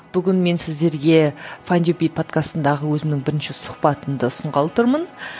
бүгін мен сіздерге файндюби подкастынадағы өзімнің бірінші сұхбатымды ұсынғалы тұрмын